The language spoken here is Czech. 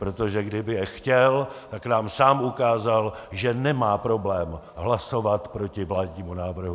Protože kdyby je chtěl, tak nám sám ukázal, že nemá problém hlasovat proti vládnímu návrhu.